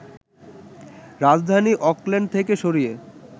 রাজধানী অকল্যান্ড থেকে সরিয়ে